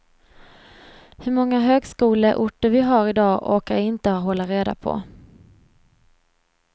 Hur många högskoleorter vi har i dag orkar jag inte hålla reda på.